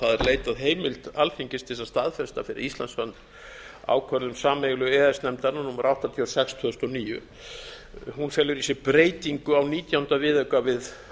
leitað heimildar alþingis til þess að staðfesta fyrir íslands hönd ákvörðun sameiginlegu e e s nefndarinnar númer áttatíu og sex tvö þúsund og níu hún felur í sér breytingu á nítjánda viðauka við